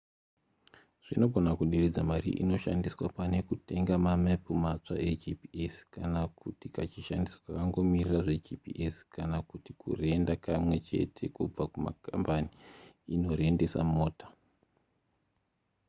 zvinogona kuderedza mari inoshandiswa pane kutenga mamepu matsva egps kana kuti kachishandiso kakangomirira zvegps kana kuti kurenda kamwe chete kubva kukambani inorendesa mota